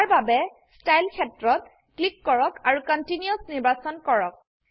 ইয়াৰবাবে style ক্ষেত্ৰত click কৰক আৰু কণ্টিনিউচ নিৰ্বাচন কৰক